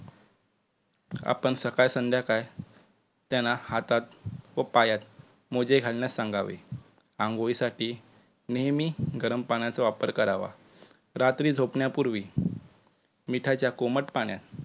आपण सकाळ संध्याकाळ त्यांना हातात व पायात मोजे घालण्यास सांगावे. आंघोळीसाठी नेहमी गरम पाण्याचा वापर करावा. रात्री जोपण्यापुर्वी मीठाच्या कोमट पाण्यात